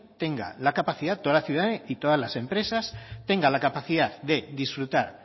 tenga la capacidad toda la ciudadanía y todas las empresas tenga la capacidad de disfrutar